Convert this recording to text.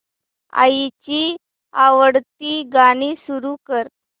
आईची आवडती गाणी सुरू कर